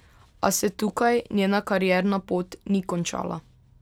A se tukaj njena karierna pot ni končala.